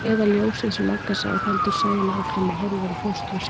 Eða ljósið sem Magga sá, heldur Sæunn áfram og horfir á fóstru sína.